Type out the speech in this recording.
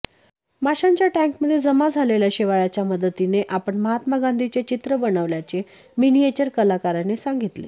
माशांच्या टँकमध्ये जमा झालेल्या शेवाळाच्या मदतीने आपण महात्मा गांधींचे चित्र बनवल्याचे मिनिएचर कलाकाराने सांगितले